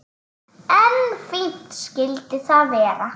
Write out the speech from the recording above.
En fínt skyldi það vera!